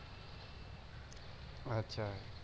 আচ্ছা